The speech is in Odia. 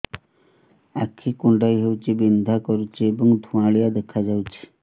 ଆଖି କୁଂଡେଇ ହେଉଛି ବିଂଧା କରୁଛି ଏବଂ ଧୁଁଆଳିଆ ଦେଖାଯାଉଛି